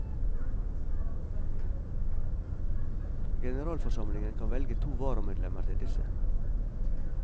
Generalforsamlingen kan velge to varamedlemmer til disse.